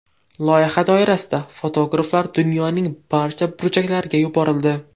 Loyiha doirasida fotograflar dunyoning barcha burchaklariga yuborildi.